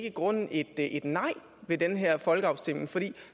i grunden ikke et nej ved den her folkeafstemning for